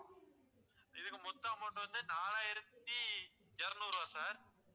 இதுக்கு மொத்த amount வந்து நாலாயிரத்து இருநூறு ருபா sir